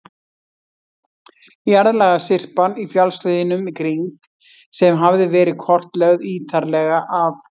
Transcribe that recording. Jarðlagasyrpan í fjallshlíðunum í kring, sem hafði verið kortlögð ítarlega af